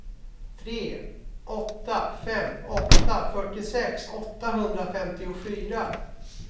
tre åtta fem åtta fyrtiosex åttahundrafemtiofyra